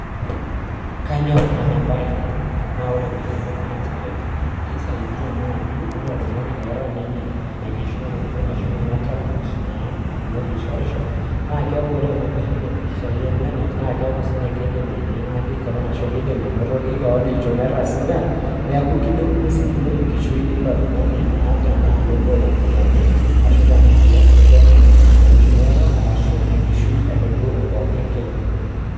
kaanyor ena baye nanu amuu kisho oltungani oota ena kishooroto metaa tenishorisho nekir impishai enyanak netum iropiani enyenak ashu olchumati lenye loidim aisaidia toonkulie olongi naa ponu neeku kilepunye siininye enkishui oilo tungani eimu ina